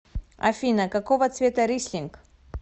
афина какого цвета рислинг